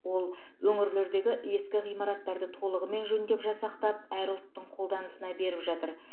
ол өңірлердегі ескі ғимараттарды толығымен жөндеп жасақтап әр ұлттың қолданысына беріп жатыр